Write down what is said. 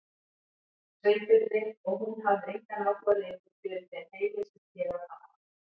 Sveinbirni og hún hafði engan áhuga lengur fyrir þeim heimi sem sneri að pabba.